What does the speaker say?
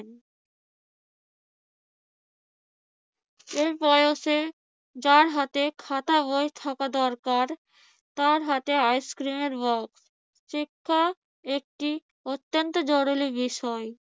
এই বয়সে যার হাতে খাতা বই থাকা দরকার, তার হাতে আইসক্রিমের বক্স। শিক্ষা একটি অত্যন্ত জরুরি বিষয়।